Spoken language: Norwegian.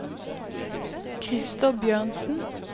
Christer Bjørnsen